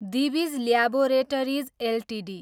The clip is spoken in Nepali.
Divij laboratories Ltd